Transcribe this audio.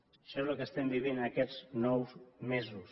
això és el que estem vivint en aquests nou mesos